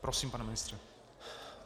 Prosím, pane ministře.